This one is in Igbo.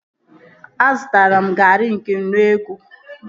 Azụtara m garị nke nnu ego